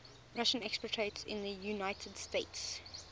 russian expatriates in the united states